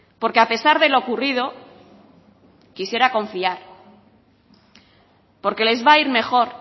porque a pesar de lo ocurrido quisiera confiar porque les va a ir mejor